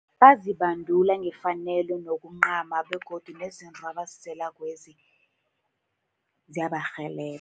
Bazibandula ngefanelo nokuncama, begodu nezinto abaziselakwezi ziyabarhelebha.